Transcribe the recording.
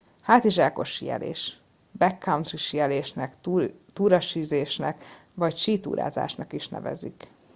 hátizsákos síelés backcountry síelésnek túrasízésnek vagy sítúrázásnak is nevezik